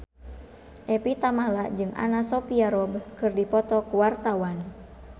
Evie Tamala jeung Anna Sophia Robb keur dipoto ku wartawan